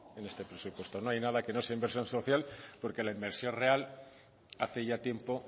en este presupuesto no hay nada que no sea inversión social porque la inversión real hace ya tiempo